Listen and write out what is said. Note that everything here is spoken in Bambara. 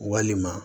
Walima